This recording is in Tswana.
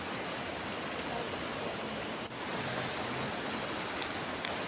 ba tirelo ya tlamelo ya